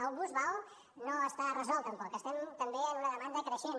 el bus vao no està resolt tampoc estem també en una demanda creixent